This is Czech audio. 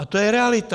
A to je realita.